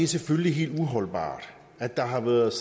selvfølgelig helt uholdbart at der har været